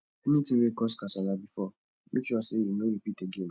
anytin wey cause kasala bifor mek sure sey e no ripit again o